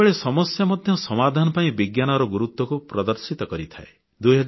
ବେଳେବେଳେ ସମସ୍ୟା ମଧ୍ୟ ସମାଧାନ ପାଇଁ ବିଜ୍ଞାନର ଗୁରୁତ୍ୱକୁ ପ୍ରଦର୍ଶିତ କରିଥାଏ